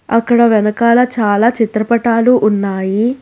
అక్కడ వెనకాల చాలా చిత్రపటాలు ఉన్నాయి.